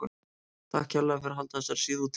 Takk kærlega fyrir að halda þessari síðu úti.